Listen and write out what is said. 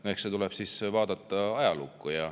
No eks tuleb vaadata ajalukku.